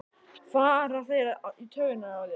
fara þeir í taugarnar á þér?